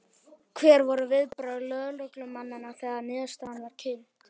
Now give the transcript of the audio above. Hver voru viðbrögð lögreglumanna þegar að niðurstaðan var kynnt?